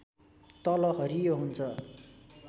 तल हरियो हुन्छ